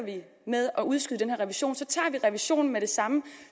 med at udskyde den her revision tager revisionen med det samme